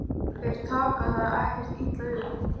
Þeir taka það ekkert illa upp.